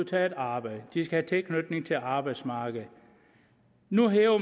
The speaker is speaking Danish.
tage et arbejde at de skal tilknytning til arbejdsmarkedet nu